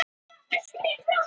spurði velunnari Valdimars.